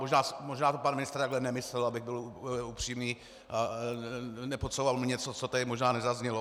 Možná to pan ministr takhle nemyslel, abych byl upřímný a nepodsouval mu něco, co tady možná nezaznělo.